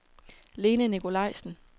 Lene Nicolaisen